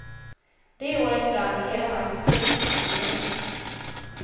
Det året brann hela hans bruk ner till grunden.